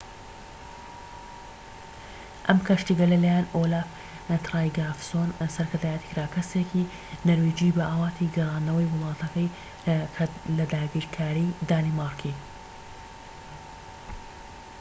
ئەم کەشتیگەلە لە لایەن ئۆلاف ترایگڤاسۆن سەرکردایەتی کرا کەسێکی نەرویجی بە ئاواتی گەڕاندنەوەی وڵاتەکەی لە داگیرکاری دانیمارکی